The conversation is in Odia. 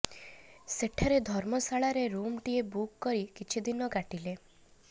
ସେଠାରେ ଧର୍ମଶାଳା ରେ ରୁମ ଟିଏ ବୁକ କରି କିଛିଦିନ କାଟିଲେ